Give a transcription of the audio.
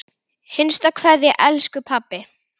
HINSTA KVEÐJA Elsku pabbi.